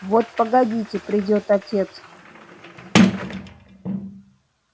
вот погодите придёт отец